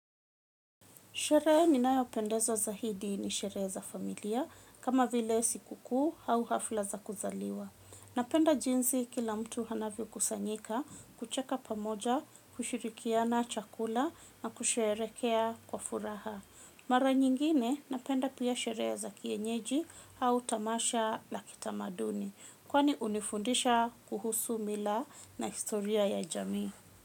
Sherehe ninayo pendeza zaidi ni sherehe za familia, kama vile siku kuu au hafla za kuzaliwa. Napenda jinsi kila mtu anavyo kusanyika, kucheka pamoja, kushirikiana chakula na kusherekea kwa furaha. Mara nyingine napenda pia sherehe za kienyeji au tamasha la kitamaduni, kwani unifundisha kuhusu mila na historia ya jamii.